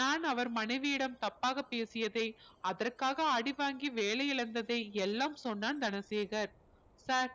நான் அவர் மனைவியிடம் தப்பாக பேசியதை அதற்காக அடி வாங்கி வேலை இழந்ததை எல்லாம் சொன்னான் தனசேகர் sir